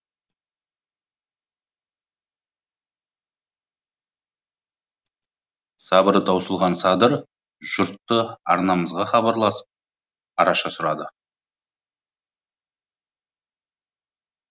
сабыры таусылған садыр жұрты арнамызға хабарласып араша сұрады